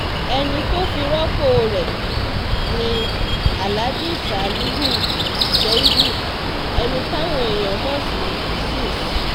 ẹni tó fi rọ́pò rẹ̀ ni alhaji salihu ṣèìdú ẹni táwọn èèyàn mọ̀ sí sís